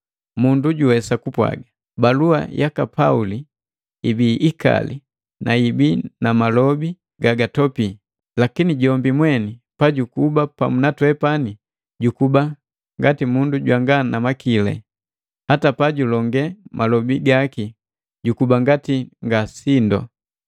Mundu juwesa kupwaaga, “Balua yaka Pauli ibii ikali na yibii na malobi gagatopii, lakini jombi mweni pajukuba pamu na twepani jukuba mundu jwanga namakili, hata pajulongee malobi gaki jukuba ngati nga sindu.”